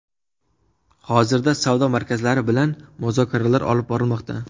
Hozirda savdo markazlari bilan muzokaralar olib borilmoqda.